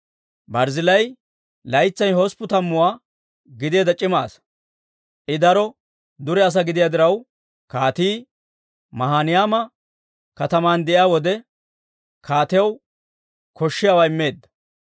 Barzzillaayi laytsay hosppun tammuwaa gideedda c'ima asaa. I daro dure asaa gidiyaa diraw, kaatii Maahinayma kataman de'iyaa wode, kaatiyaw koshshiyaawaa immeedda.